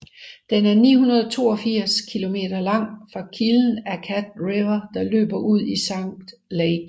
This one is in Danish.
Den er 982 km lang fra kilden af Cat River der løber ud i Lake St